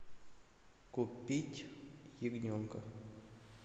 купить ягненка